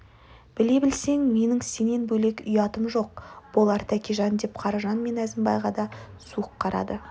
біле білсең менің сенен бөлек ұятым жоқ болар тәкежан деп қаражан мен әзімбайға да суық қарады